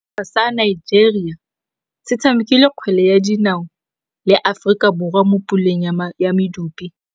Setlhopha sa Nigeria se tshamekile kgwele ya dinaô le Aforika Borwa mo puleng ya medupe.